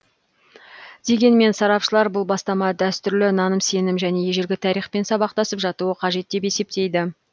дегенмен сарапшылар бұл бастама дәстүрлі наным сенім және ежелгі тарихпен сабақтасып жатуы қажет деп есептейді